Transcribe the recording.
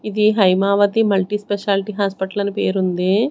ఇది Haimavathi multi speciality hospital అని పేరు ఉంది.